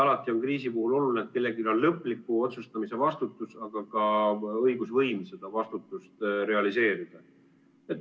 Alati on kriisi puhul oluline, et kellelgi on lõpliku otsustamise vastutus, aga ka õigusvõim seda vastutust realiseerida.